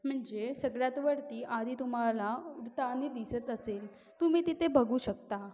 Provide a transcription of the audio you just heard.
म्हणजे सगळ्यात वरती आधी तुम्हाला उडतानी दिसत असेल तुम्ही तिथे बघू शकता.